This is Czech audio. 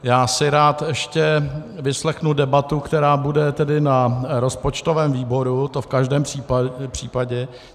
Já si rád ještě vyslechnu debatu, která bude tedy na rozpočtovém výboru, to v každém případě.